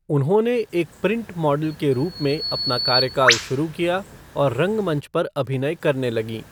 उन्होंने एक print model के रूप में अपना कार्यकाल शुरू किया और रंगमंच पर अभिनय करने लगीं।